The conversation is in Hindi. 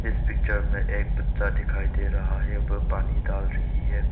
इस पिक्चर में एक बच्चा दिखाई दे रहा है वो पानी डाल रही है।